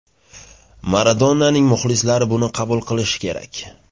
Maradonaning muxlislari buni qabul qilishi kerak.